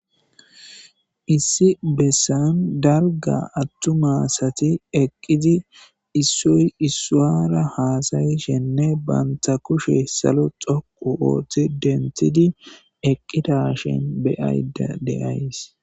issi bessan dalga attums asati eqqidi issoy isuwara haasayishenne banta kushe salo xoqu ooththi dentidi eqqidashen beyayda de'ays